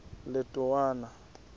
letowana